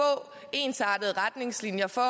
ensartede retningslinjer for